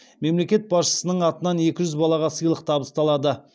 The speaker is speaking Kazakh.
мемлекет басшысының атынан екі жүз балаға сыйлық табысталады